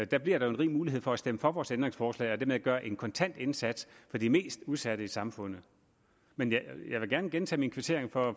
der bliver der jo rig mulighed for at stemme for vores ændringsforslag og dermed gøre en kontant indsats for de mest udsatte i samfundet men jeg vil gerne gentage min kvittering for